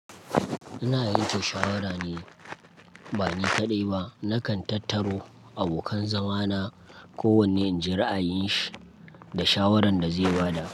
Ina yanke shawara ne, bani kaɗai ba. Nakan tattaro abokan zama na, kowanne in ji ra'ayin shi da shawarar da zai ba da.